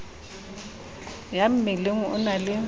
ya mmeleng o na le